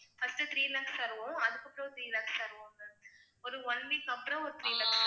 first three lakhs தருவோம் அதுக்கப்புறம் three lakhs தருவோம் ma'am ஒரு one week அப்புறம் ஒரு three lakhs